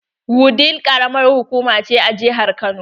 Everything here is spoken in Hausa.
Wudil karamar hukuma ce a jihar Kano.